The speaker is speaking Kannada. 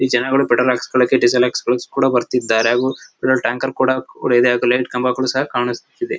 ಈ ಜನಗಳು ಪೆಟ್ರೋಲ್ ಹಾಕಿಸಿಕೊಳ್ಳಿಕ್ಕೆ ಡೀಸೆಲ್ ಹಾಕಿಸಿಕೊಳ್ಳಿಕ್ಕೆ ಕೂಡ ಬರ್ತಿರ್ತಾರೆ ಹಾಗು ಇಲ್ಲಿ ಒಂದು ಟ್ಯಾಂಕರ್ ಕೂಡ ಇದೆ ಹಾಗು ಲೈಟ್ ಕಂಬಗಳು ಕೂಡ ಕಾಣಿಸುತ್ತಿದೆ.